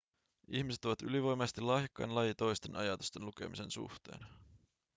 ihmiset ovat ylivoimaisesti lahjakkain laji toisten ajatusten lukemisen suhteen